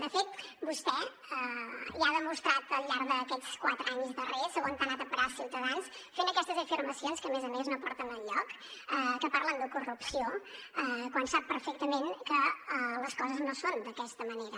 de fet vostè ja ha demostrat al llarg d’aquests quatre anys darrers on ha anat a parar ciutadans fent aquestes afirmacions que a més a més no porten enlloc que parlen de corrupció quan sap perfectament que les coses no són d’aquesta manera